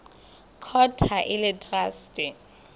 court ha e le traste